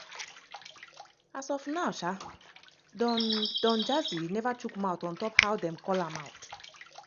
as of now sha don don jazzy neva chook mouth on top how dem call am out.